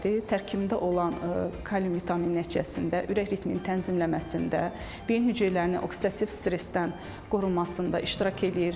Tərkibində olan kalium vitamin nəticəsində ürək ritmini tənzimləməsində, beyin hüceyrələrini oksidativ stressdən qorunmasında iştirak eləyir.